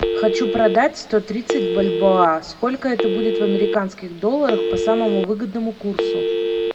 хочу продать сто тридцать бальбоа сколько это будет в американских долларах по самому выгодному курсу